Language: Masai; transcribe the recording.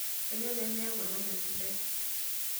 Kainyoo pee miyaku olpayiani sidai?